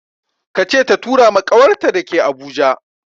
Ka ce ta tura ma ƙawarta da ke Abuja!